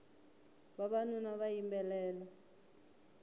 vavanuna va yimbelela